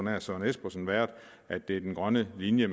herre søren espersen været den grønne linje